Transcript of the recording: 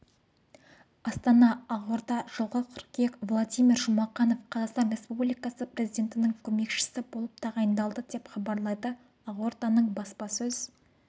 астана ақорда жылғы қыркүйек владимир жұмақанов қазақстан республикасы президентінің көмекшісі болып тағайындалды деп хабарлайды ақорданың баспасөз